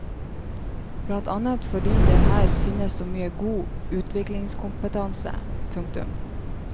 Blant annet fordi her finnes så mye god utviklingskompetanse. punktum